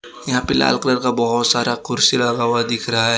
यहां पे लाल कलर का बहुत सारा कुर्सी लगा हुआ दिख रहा है।